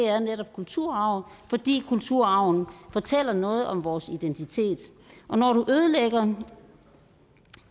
kulturarv fordi kulturarven fortæller noget om vores identitet og når du ødelægger